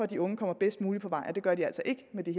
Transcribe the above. de unge kommer bedst muligt på vej og det gør de altså ikke med det